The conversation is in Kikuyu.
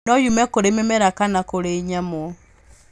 No yume kũrĩ mĩmera kana kũrĩ nyamũ.